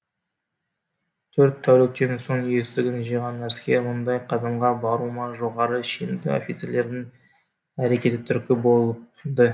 төрт тәуліктен соң есін жиған әскер мұндай қадамға баруыма жоғары шенді офицерлердің әрекеті түрткі болды